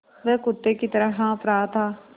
वह कुत्ते की तरह हाँफ़ रहा था